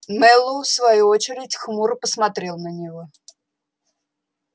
мэллоу в свою очередь хмуро посмотрел на него